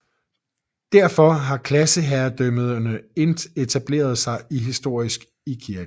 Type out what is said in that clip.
Derfor har klasseherredømme etableret sig historisk i kirken